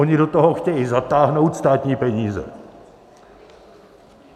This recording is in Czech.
Oni do toho chtějí zatáhnout státní peníze.